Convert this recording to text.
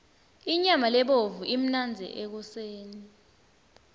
inyama lebovu imnandzi ekoseni